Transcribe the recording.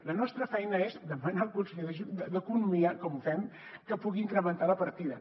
la nostra feina és demanar al conseller d’economia com fem que pugui incrementar la partida